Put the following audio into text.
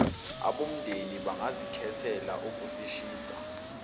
abomndeni bangazikhethela ukusishisa